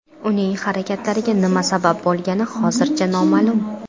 Uning harakatlariga nima sabab bo‘lgani hozircha noma’lum.